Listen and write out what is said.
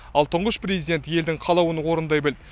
ал тұңғыш президент елдің қалауын орындай білді